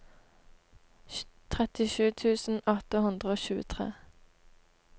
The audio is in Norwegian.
trettisju tusen åtte hundre og tjuetre